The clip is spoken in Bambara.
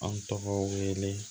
An tɔgɔ wele